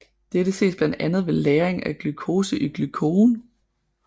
Dette ses blandt andet ved lagring af glucose i glykogen